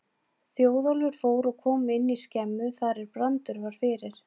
Þjóðólfur fór og kom inn í skemmu þar er Brandur var fyrir.